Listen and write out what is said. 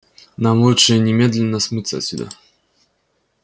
нам лучше немедленно смыться отсюда